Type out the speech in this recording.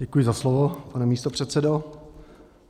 Děkuji za slovo, pane místopředsedo.